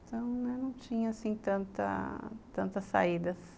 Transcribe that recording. Então, não tinha assim tantas saídas.